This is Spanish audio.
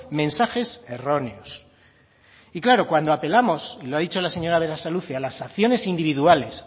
mensajes erróneos y claro cuando apelamos y lo ha dicho la señora berasaluze a las acciones individuales